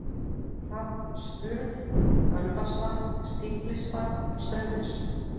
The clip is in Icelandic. Hrafnsurð, Ölvasvatn, Stíflisvatn, Straumnes